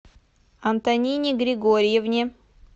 антонине григорьевне